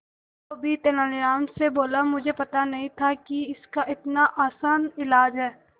धोबी तेनालीराम से बोला मुझे पता नहीं था कि इसका इतना आसान इलाज है